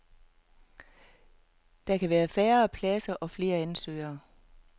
Der kan være færre pladser eller flere ansøgere.